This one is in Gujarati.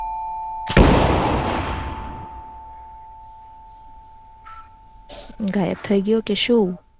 ગાયબ થઇ ગ્યો કે શું